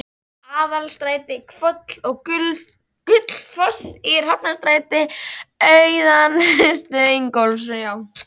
Aðalstræti, Hvoll og Gullfoss í Hafnarstræti austanverðu, Ingólfs